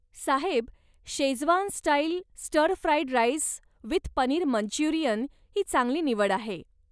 Saheb, Schezwan style stir fried rice with paneer Manchurian ही चांगली निवड आहे.